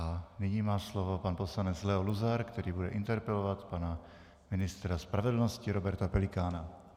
A nyní má slovo pan poslanec Leo Luzar, který bude interpelovat pana ministra spravedlnosti Roberta Pelikána.